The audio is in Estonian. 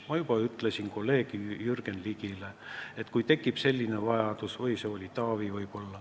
Ma juba ütlesin kolleeg Jürgen Ligile – või oli see Taavi?